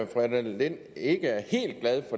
fru annette lind